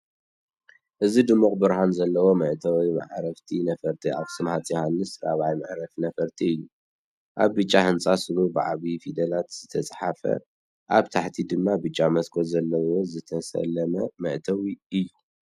እዚ ድሙቕ ብርሃን ዘለዎ መእተዊ መዓርፎ ነፈርቲ ኣክሱም ሃፄ ዩውሓንስ ራብዓይ መዕርፎ ነፈርቲ እዩ። ኣብ ብጫ ህንጻ ስሙ ብዓበይቲ ፊደላት ዝተጻሕፈን ኣብ ታሕቲ ድማ ብዙሕ መስኮት ዘለዎ ዝተሰለመ መእተዊን እዩ።